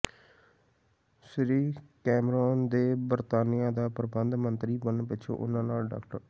ਸ੍ਰੀ Cameron ਦੇ ਬਰਤਾਨੀਆ ਦਾ ਪ੍ਰਧਾਨ ਮੰਤਰੀ ਬਣਨ ਪਿੱਛੋਂ ਉਨ੍ਹਾਂ ਨਾਲ ਡਾ